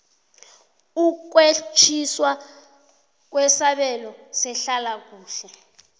ukwetjiwa kwesabelo sehlalakuhle